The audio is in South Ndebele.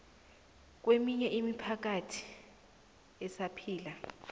keminye imiphakathi esaphila